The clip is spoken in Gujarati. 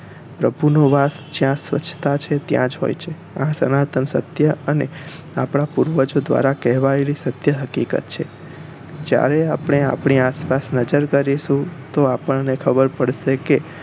પ્રભુ નો વાસ જ્યાં સ્વચ્છતા છે ત્યાં જ હોઈ છે આ સનાતન સત્ય અને આપણા પૂર્વજો દ્વારા કહેવાયેલી સત્ય હકીકત છે જયારે આપણે આપણી આસપાસ નજર કરીશુ તો આપણને ખબર પડશે કે